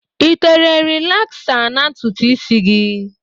I tere rịlaksa na ntutu isi gị?